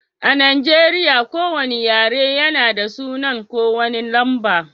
A Nijeriya,, ko wane yare na da sunan ko wane lamba.